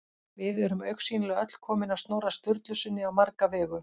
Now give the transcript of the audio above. Við erum augsýnilega öll komin af Snorra Sturlusyni á marga vegu.